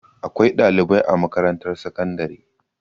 Akwai ɗalibai a makarantar sakandare.